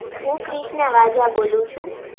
હું ક્રિષ્ણા વાઝા બોલું છું.